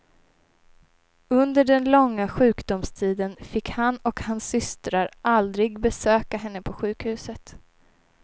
Under den långa sjukdomstiden fick han och hans systrar aldrig besöka henne på sjukhuset.